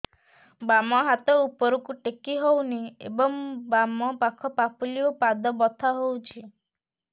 ବାମ ହାତ ଉପରକୁ ଟେକି ହଉନି ଏବଂ ବାମ ପାଖ ପାପୁଲି ଓ ପାଦ ବଥା ହଉଚି